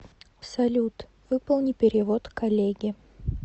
салют выполни перевод коллеге